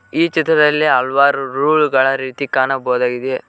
ಈ ಚಿತ್ರದಲ್ಲಿ ಹಲವಾರು ರೂಲ್ ಗಳ ರೀತಿ ಕಾಣಬೋದಾಗಿದೆ.